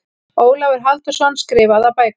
Ólafur Halldórsson, Skrifaðar bækur